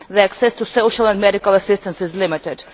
Their access to social and medical assistance is limited.